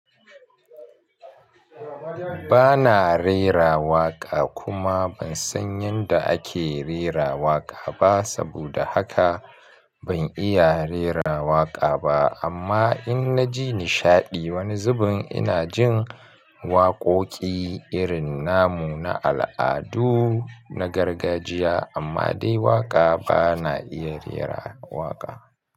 Bana rera waƙa kuma ban san yadda ake rera waƙa ba saboda haka ban iya rera waƙa ba amma in na ji nishaɗi wani zubin ina jin waƙoƙi irin namu na al'adu na gargajiya amma dai waƙa bana iya rera waƙa.